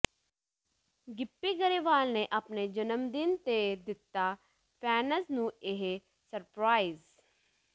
ਗਿੱਪੀ ਗਰੇਵਾਲ ਨੇ ਆਪਣੇ ਜਨਮਦਿਨ ਤੇ ਦਿੱਤਾ ਫੈਨਜ਼ ਨੂੰ ਇਹ ਸਰਪ੍ਰਾਈਜ਼